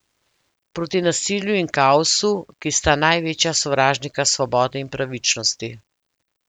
Proti nasilju in kaosu, ki sta največja sovražnika svobode in pravičnosti.